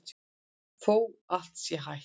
Þótt allt sé hætt?